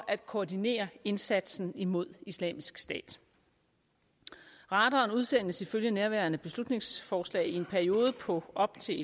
at koordinere indsatsen imod islamisk stat radaren udsendes ifølge nærværende beslutningsforslag i en periode på op til